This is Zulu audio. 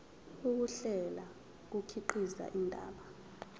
ukuhlela kukhiqiza indaba